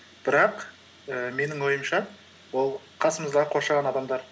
бірақ ііі менің ойымша ол қасымыздағы қоршаған адамдар